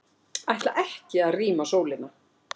Ætla ekki að rýma Sólina